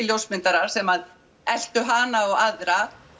ljósmyndarar sem eltu hana og aðra